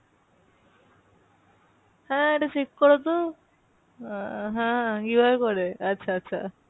হ্যাঁ এটা check করো তো, আহ হ্যাঁ কীভাবে করে? আচ্ছা আচ্ছা।